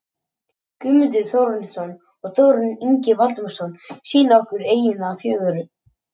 Guðmundur Þórarinsson og Þórarinn Ingi Valdimarsson sýna okkur eyjuna fögru.